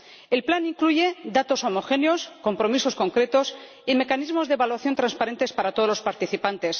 El plan incluye datos homogéneos, compromisos concretos y mecanismos de evaluación transparentes para todos los participantes.